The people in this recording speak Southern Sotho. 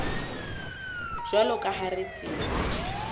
jwalo ka ha re tseba